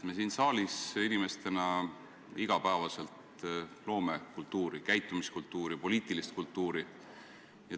Me siin saalis loome iga päev kultuuri – käitumiskultuuri, poliitilist kultuuri.